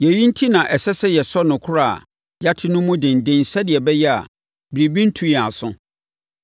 Yei enti na ɛsɛ sɛ yɛsɔ nokorɛ a yɛate no mu denden sɛdeɛ ɛbɛyɛ a, biribi rentu yɛn aso.